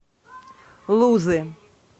лузы